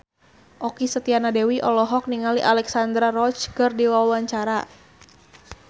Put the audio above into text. Okky Setiana Dewi olohok ningali Alexandra Roach keur diwawancara